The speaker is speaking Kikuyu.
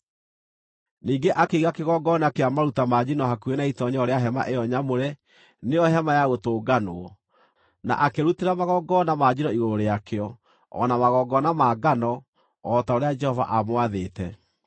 Ningĩ akĩiga kĩgongona kĩa maruta ma njino hakuhĩ na itoonyero rĩa hema ĩyo nyamũre, nĩyo Hema-ya-Gũtũnganwo, na akĩrutĩra magongona ma njino igũrũ rĩakĩo o na magongona ma ngano, o ta ũrĩa Jehova aamwathĩte.